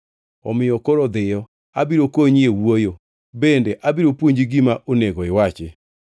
Omiyo koro dhiyo, abiro konyi e wuoyo bende abiro puonji gima onego iwachi.”